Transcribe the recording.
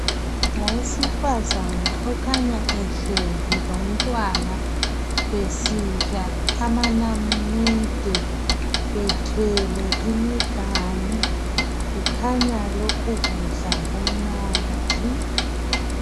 ngawesifazana okhanya ehlezi lomntwana besidla amanamunede bethwele imiganu kukhanya lokho kudla kumnandi